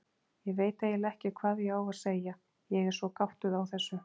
Ég veit eiginlega ekki hvað ég á að segja, ég er svo gáttuð á þessu.